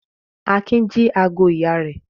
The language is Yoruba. Akin jí ago ìyá rẹ̀?